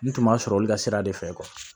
N tun ma sɔrɔ olu ka sira de fɛ